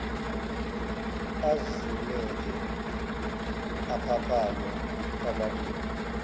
azumeke aphaphame kwamabili